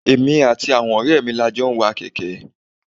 Èmi àti àwọn ọrẹ mi ni a jọ ń wa kèké.